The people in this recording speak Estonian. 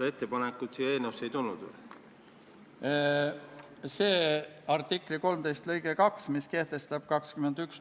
või teil fraktsioonis on olnud samasugused diskussioonid, et Eesti käib kolonialistina välismissioonidel?